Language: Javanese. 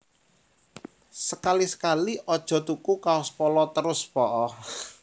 Sekali sekali ojo tuku kaos Polo terus po'o